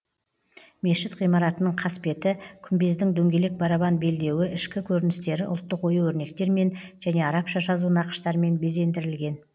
мешіт ғимаратының қасбеті күмбездің дөңгелек барабан белдеуі ішкі көріністері ұлттық ою өрнектермен және арабша жазу нақыштармен безендірілген